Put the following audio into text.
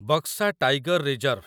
Buxa tiger reserve